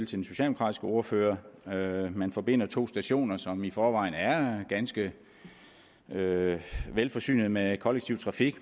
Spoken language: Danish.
til den socialdemokratiske ordfører man forbinder to stationer som i forvejen er ganske velforsynede med kollektiv trafik